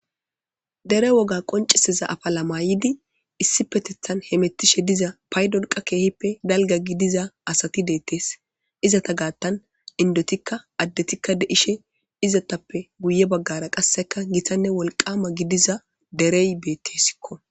Dere woga qonciseza afa lamayidi issi petethan hemettishe diza paydonqa keehippe galga gidiza asati deettees izata gaattan indotikka addetikka deishe izatappe guye baggara qasseka gitanne wolqama gidiza derey beettesikko.